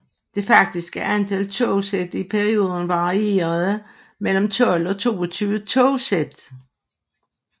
Det faktiske antal togsæt i perioden varierede mellem 12 og 22 togsæt